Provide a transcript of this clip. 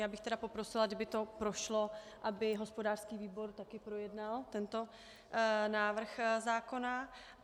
Já bych tedy poprosila, kdyby to prošlo, aby hospodářský výbor také projednal tento návrh zákona.